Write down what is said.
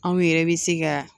Anw yɛrɛ bɛ se ka